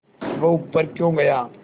वह ऊपर क्यों गया